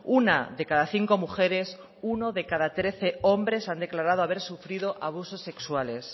una de cada cinco mujeres uno de cada trece hombres han declarado haber sufrido abusos sexuales